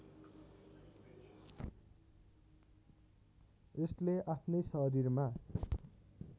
यसले आफ्नै शरीरमा